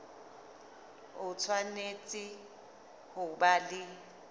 o tshwanetse ho ba le